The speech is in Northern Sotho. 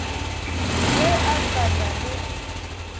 ge a sa na le